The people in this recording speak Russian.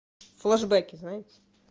флешбеки знаете